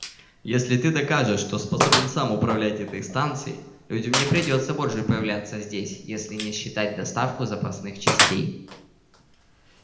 если ты докажешь что способен сам управлять этой станцией людям не придётся больше появляться здесь если не считать доставку запасных частей